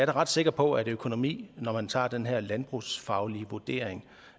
da ret sikker på at økonomien når man tager den her landbrugsfaglige vurdering